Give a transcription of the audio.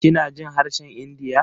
Kina jin harshen India?